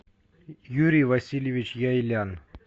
юрий васильевич яйлян